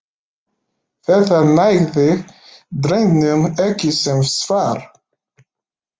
Þetta nægði drengnum ekki sem svar.